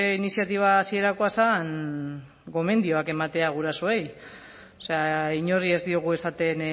iniziatiba hasierakoa zen gomendioak ematea gurasoei o sea inori ez diogu esaten